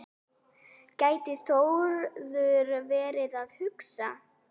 gæti Þórður verið að hugsa.